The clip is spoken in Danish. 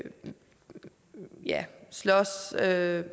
slås med